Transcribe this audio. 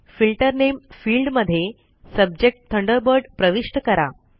filter नामे field मध्ये subject Thunderbird प्रविष्ट करा